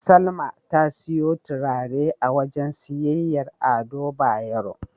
Salma ta siyo turare a wajen siyayyar Ado Bayero.